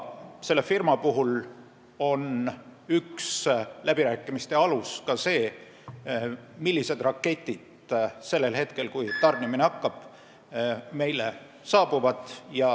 Selle firma puhul on üks läbirääkimiste alus ka see, millised raketid saabuvad meile sellel hetkel, kui tarnimine peale hakkab.